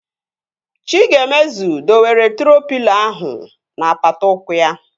Chigaemezu dowere troo pịlo ahụ n'apata ụkwụ ya